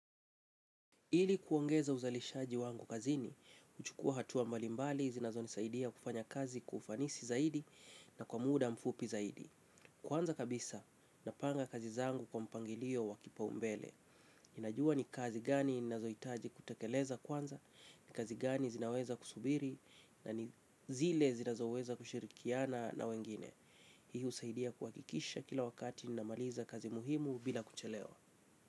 Ili kuongeza uzalishaji wangu kazini, uchukua hatua mbalimbali, zinazonisaidia kufanya kazi kwa ufanisi zaidi na kwa muda mfupi zaidi. Kwanza kabisa, napanga kazi zangu kwa mpangilio wa kipaumbele. Ninajua ni kazi gani ninazoitaji kutakeleza kwanza, ni kazi gani zinaweza kusubiri, na zile zinazoweza kushirikiana na wengine. Hii usaidia kuhakikisha kila wakati ninamaliza kazi muhimu bila kuchelewa.